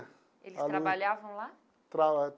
Eles trabalhavam lá?